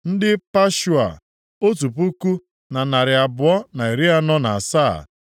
ndị Pashua, otu puku na narị abụọ na iri anọ na asaa (1,247)